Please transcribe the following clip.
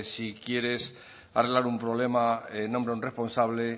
si quieres arreglar un problema nombra a un responsable